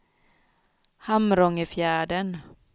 Hamrångefjärden